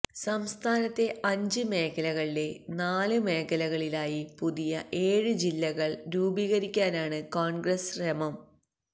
സംസ്ഥാനത്തെ അഞ്ച് മേഖലകളിലെ നാല് മേഖലകളിലായി പുതിയ ഏഴ് ജില്ലകള് രൂപീകരിക്കാനാണ് കോണ്ഗ്രസ് ശ്രമം